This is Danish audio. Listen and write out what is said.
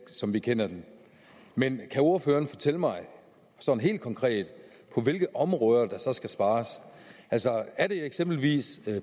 som vi kender den men kan ordføreren fortælle mig sådan helt konkret på hvilke områder der så skal spares altså er det eksempelvis